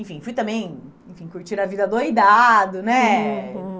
Enfim, fui também, enfim, curtir a vida adoidado, né? Uhum, uhum.